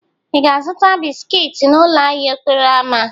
Ị ga-azụta bisiki n'ụlọ ahịa okporo ámá?